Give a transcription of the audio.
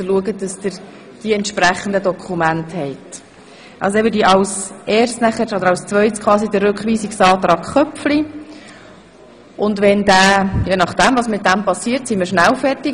Je nachdem, was nun mit dem Rückweisungsantrag Köpfli geschehen wird, ist die Debatte rasch zu Ende.